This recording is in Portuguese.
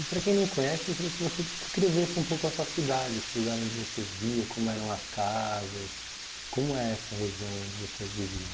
E para quem não conhece, eu queria que você descrevesse um pouco a sua cidade, esse lugar onde você via, como eram as casas, como é essa região onde você vivia?